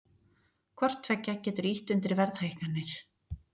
Hvort tveggja getur ýtt undir verðhækkanir.